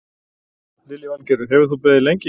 Lillý Valgerður: Hefur þú beðið lengi?